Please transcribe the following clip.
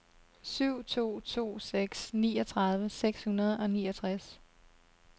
syv to to seks niogtredive seks hundrede og niogtres